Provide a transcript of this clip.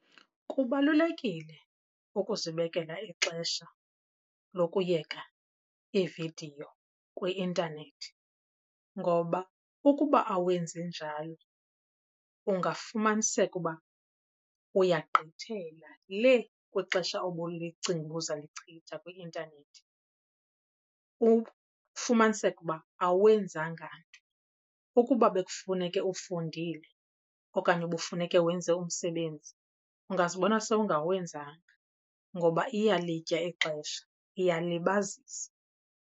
Kubalulekile ukuzibekela ixesha lokuyeka iividiyo kwi-intanethi ngoba ukuba awenzi njalo ungafumaniseka uba uyagqithela le kwixesha obulicinga uba uzalichitha kwi-intanethi, ufumaniseke uba awenzanga nto. Ukuba bekufuneke ufundile okanye ubufuneke wenze umsebenzi ungazibona sowungawenzanga ngoba iyalitya ixesha, iyalibazisa.